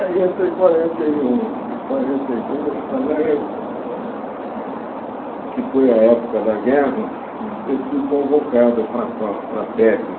Aí entre quarenta e um e quarenta e dois, que foi a época da guerra, eu fui convocado para a fa para a Feb.